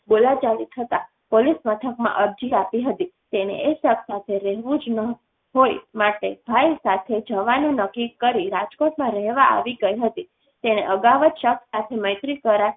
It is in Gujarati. બોલાચાલી થતાં પોલીસ મથકમાં અરજી આપી હતી તેને એ શખ્સ સાથે રહેવું જ ન હ હોય માટે ભાઈ સાથે જવાનું નક્કી કરી રાજકોટ માં રહેવા આવી ગઈ હતી તેને અગાઉ જ શખ્સ સાથે મૈત્રી કરાર કર્યા હતાં